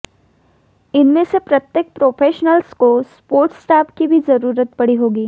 इनमें से प्रत्येक प्रोफेशनल्स को सपोर्ट स्टाफ की भी जरूरत पड़ी होगी